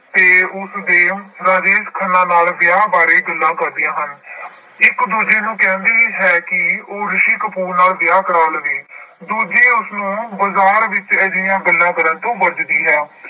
ਤੇ ਉਸਦੇ ਰਾਜੇਸ਼ ਖੰਨਾ ਨਾਲ ਵਿਆਹ ਬਾਰੇ ਗੱਲਾਂ ਕਰਦੀਆਂ ਹਨ ਇੱਕ ਦੂਜੀ ਨੂੰ ਕਹਿੰਦੀ ਹੈ ਕਿ ਉਹ ਰਿਸ਼ੀ ਕਪੂਰ ਨਾਲ ਵਿਆਹ ਕਰਵਾ ਲਵੇ ਦੂਜੀ ਉਸਨੂੰ ਬਾਜ਼ਾਰ ਵਿੱਚ ਅਜਿਹੀਆਂ ਗੱਲਾਂ ਕਰਨ ਤੋਂ ਬਚਦੀ ਹੈ।